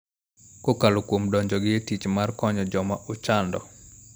Kokalo kuom donjogi e tich mar konyo joma ochando.